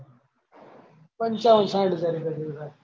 પંચાવન સાહીઠ હજાર રૂપયા જેવું થાય.